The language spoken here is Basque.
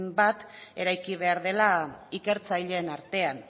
bat eraiki behar dela ikertzaileen artean